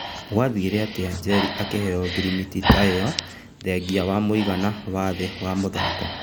Gwathire atĩa Njeri akĩheo ngirimiti ta ĩyo thengĩa wa mũigana wa thĩ wa mũthako?